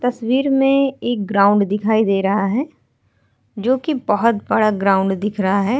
तस्वीर में एक ग्राउंड दिखाई दे रहा है जोकि बहोत बड़ा ग्राउंड दिख रहा है।